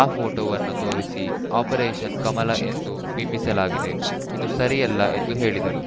ಆ ಫೋಟೋವನ್ನು ತೋರಿಸಿ ಆಪರೇಷನ್‌ ಕಮಲ ಎಂದು ಬಿಂಬಿಸಲಾಗಿದೆ ಇದು ಸರಿಯಲ್ಲ ಎಂದು ಹೇಳಿದರು